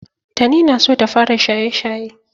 Tani na so ta fara shaye-shaye.